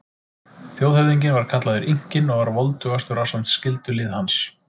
Þjóðhöfðinginn var kallaður Inkinn og var voldugastur ásamt skyldulið hans.